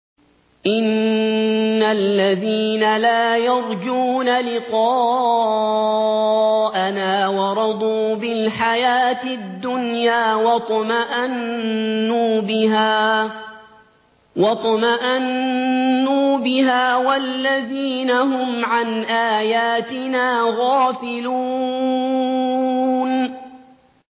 إِنَّ الَّذِينَ لَا يَرْجُونَ لِقَاءَنَا وَرَضُوا بِالْحَيَاةِ الدُّنْيَا وَاطْمَأَنُّوا بِهَا وَالَّذِينَ هُمْ عَنْ آيَاتِنَا غَافِلُونَ